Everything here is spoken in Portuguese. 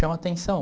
Chama atenção.